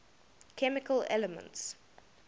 chemical elements